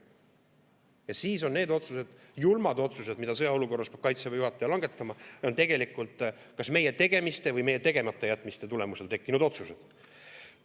Ja siis on need otsused, julmad otsused, mida sõjaolukorras peab Kaitseväe juhataja langetama, tegelikult kas meie tegemiste või tegematajätmiste tulemusel tekkinud otsused.